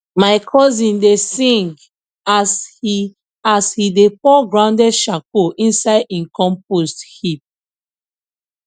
my cousin dey sing as he as he dey pour grounded charcoal inside him compost heap